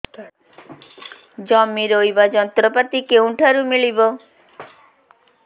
ଜମି ରୋଇବା ଯନ୍ତ୍ରପାତି କେଉଁଠାରୁ ମିଳିବ